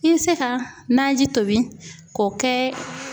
I bɛ se ka naji tobi k'o kɛ